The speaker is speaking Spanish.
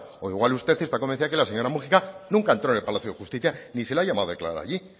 o igual usted está convencida de que la señora múgica nunca entró en el palacio de justicia ni se le ha llamado a declarar allí